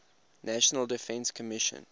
national defense commission